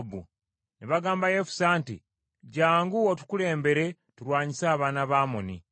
Ne bagamba Yefusa nti, “Jjangu otukulembere tulwanyise abaana ba Amoni.”